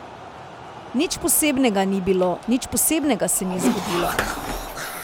Nič posebnega ni bilo, nič posebnega se ni zgodilo.